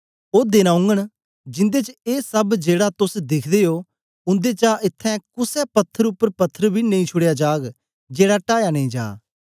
ओ देन औगन जिन्दे च ए सब जेड़ा तोस दिखदे ओ उन्देचा इत्थैं कुसे पत्थर उपर पत्थर बी नेई छुड़या जाग जेड़ा टाया नेई जा